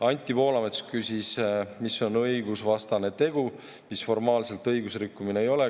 Anti Poolamets küsis, mis on õigusvastane tegu, mis formaalselt õigusrikkumine ei ole.